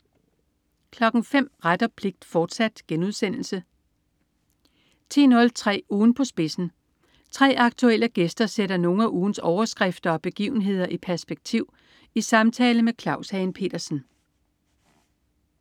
05.00 Ret og pligt, fortsat* 10.03 Ugen på spidsen. 3 aktuelle gæster sætter nogle af ugens overskrifter og begivenhederi perspektiv i samtale med Claus Hagen Petersen